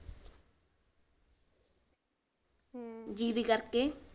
ਬਿਜਲੀ ਕਰਕੇ